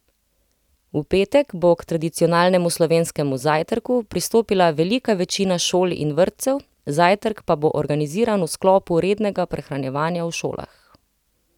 V petek bo k tradicionalnemu slovenskemu zajtrku pristopila velika večina šol in vrtcev, zajtrk pa bo organiziran v sklopu rednega prehranjevanja v šolah.